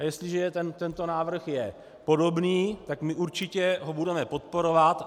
A jestliže tento návrh je podobný, tak my určitě ho budeme podporovat.